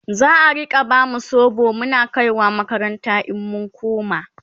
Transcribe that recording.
za'a Rika bamu sobo Muna kaiwa makaranta in mun koma?